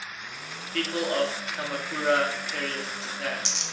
people of kamakura period japan